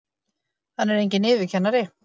Hann er enginn yfirkennari!